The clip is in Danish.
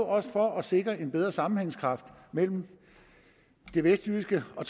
også for at sikre en bedre sammenhængskraft mellem det vestjyske og